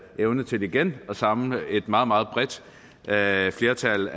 evne til igen at samle et meget meget bredt flertal